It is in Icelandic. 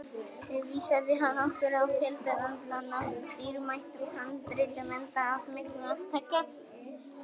Vísaði hann okkur á fjöldann allan af dýrmætum handritum, enda af miklu að taka.